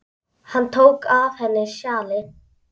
Hann tók af henni sjalið.